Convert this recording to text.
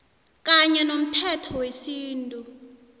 kanye nomthetho wesintu